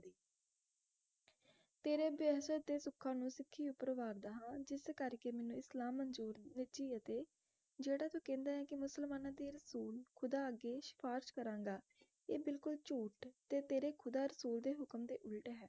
ਤੇਰੇ ਬਹਿਸ ਤੇ ਸੁੱਖਾ ਨੂੰ ਸਿੱਖੀ ਉਪਰ ਵਾਰਦਾ ਹੈ ਜਿਸ ਕਰਕੇ ਮੈਨੂੰ ਇਸਲਾਮ ਮੰਜੂਰ ਵਰਜੀ ਅਤੇ ਜਿਹੜਾ ਤੂੰ ਕਹਿੰਦਾ ਹੈ ਕੇ ਮੁਸਲਮਾਨਾਂ ਦੇ ਅਸੂਲ ਖੁਦਾ ਅੱਗੇ ਸਿਫਾਰਿਸ਼ ਕਰਾਂਗਾ ਇਹ ਬਿਲਕੁਲ ਝੂਠ ਅਤੇ ਤੇਰੇ ਖੁਦਾ ਅਸੂਲ ਦੇ ਹੁਕਮ ਦੇ ਉਲਟ ਹੈ